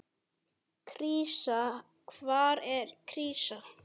Krísa, hvað er krísa?